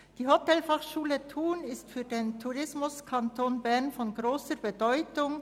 Die Hotelfachschule Thun ist für den Tourismuskanton Bern von grosser Bedeutung.